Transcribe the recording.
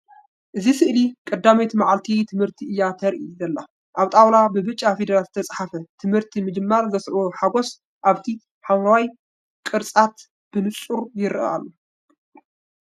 እዚ ስእሊ ቀዳመይቲ መዓልቲ ትምህርቲ እያ ተርኢ ዘላ። ኣብ ጣውላ ብብጫ ፊደላት ዝተጻሕፈ። ትምህርቲ ምጅማር ዘስዕቦ ሓጐስ ኣብቲ ሓምላይ ቅርዓት ብንጹር ይርአ ኣሎ።